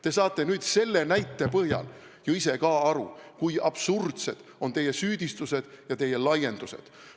Te saate nüüd selle näite põhjal ise ka aru, kui absurdsed on teie süüdistused ja teie laiendused.